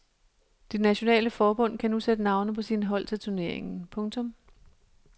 De nationale forbund kan nu sætte navne på sine hold til turneringen. punktum